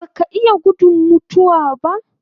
Baka iya gudun mutuwa